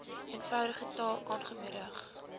eenvoudige taal aangemoedig